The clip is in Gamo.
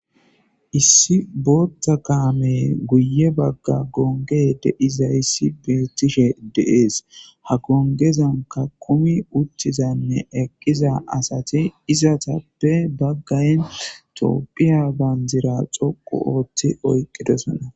Issi booththa kaame guye bagga gonge de izayssi beettishe deees ha gongezanka kumi utthizanne eqqiza asati izatappe baggayn toopphiya banjira xoqu ooththi oyqqidosona